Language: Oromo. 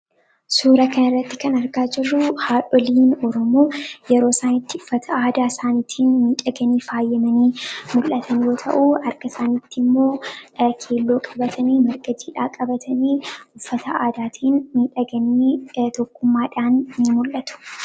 Suuraa kanarratti kan argaa jirru, haadholiin Oromoo yeroo isaan itti uffata aadaa isaanii tiin bareedanii miidhaganii faayaman yeroo ta'u, harka isaaniittimmoo keelloo qabatanii, jiidhaa qabatanii uffata aadaatiin miidhaganii tokkummaadhaan ni mul'atu.